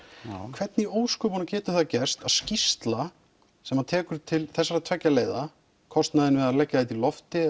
hvernig í ósköpunum getur það gerst að skýrsla sem tekur til þessara tveggja leiða kostnaðinn við að leggja þetta í lofti